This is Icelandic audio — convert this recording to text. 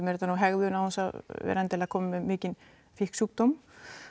er þetta nú hegðun án þess að vera endilega kominn með mikinn fíkn sjúkdóm